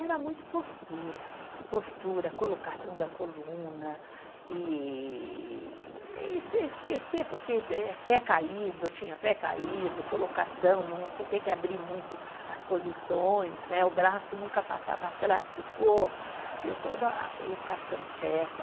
Era muito postura, postura, colocação da coluna e e, e e esquecer porque eh pé caído, tinha pé caído, colocação, não, você tem que abrir muito as posições né, o braço nunca passar para trás do corpo, deu toda a colocação certa.